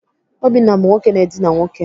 Obinna bụ nwoke na-edina nwoke.